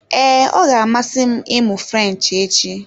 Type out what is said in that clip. Ee, ọ ga-amasị m ịmụ French echi.